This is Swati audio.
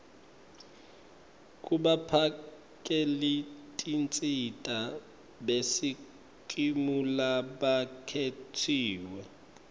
kubaphakelitinsita besikimu labakhetsiwe